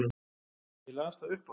Ég las það upphátt.